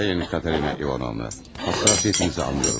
Sayın Katerina İvanovna, həssaslığınızı anlayıram.